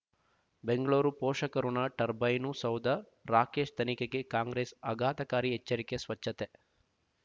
ಬೆಂಗಳೂರು ಪೋಷಕಋಣ ಟರ್ಬೈನು ಸೌಧ ರಾಕೇಶ್ ತನಿಖೆಗೆ ಕಾಂಗ್ರೆಸ್ ಆಘಾತಕಾರಿ ಎಚ್ಚರಿಕೆ ಸ್ವಚ್ಛತೆ